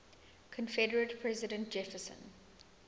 confederate president jefferson